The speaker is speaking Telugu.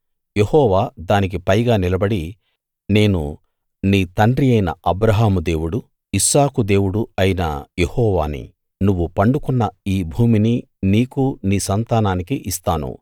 యెహోవా దానికి పైగా నిలబడి నేను నీ తండ్రి అయిన అబ్రాహాము దేవుడు ఇస్సాకు దేవుడు అయిన యెహోవాని నువ్వు పండుకున్న ఈ భూమిని నీకూ నీ సంతానానికీ ఇస్తాను